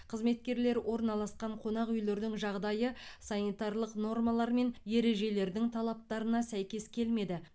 қызметкерлер орналасқан қонақ үйлердің жағдайы санитарлық нормалар мен ережелердің талаптарына сәйкес келмеді